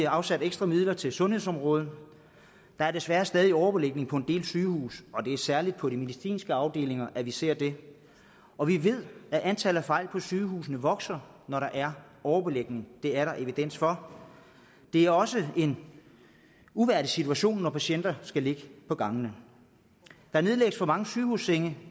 afsat ekstra midler til sundhedsområdet der er desværre stadig væk overbelægning på en del sygehuse og det er især på de medicinske afdelinger at vi ser det og vi ved at antallet af fejl på sygehusene vokser når der er overbelægning det er der evidens for det er også en uværdig situation når patienter skal ligge på gangene der nedlægges for mange sygehussenge